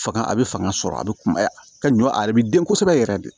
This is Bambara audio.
Fanga a bɛ fanga sɔrɔ a bɛ kumaya ka ɲɔ ale bi den kosɛbɛ yɛrɛ de